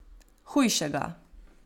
Hujšega.